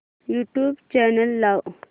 YouTube channel लाव